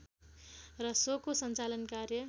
र सोको सञ्चालन कार्य